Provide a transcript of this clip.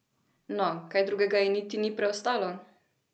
No, kaj drugega ji niti ni preostalo!